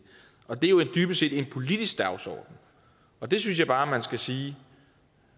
og det er jo dybest set en politisk dagsorden og det synes jeg bare man skal sige